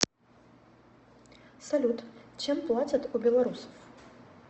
салют чем платят у белорусов